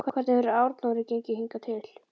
Hvernig hefur Arnóri gengið hingað til?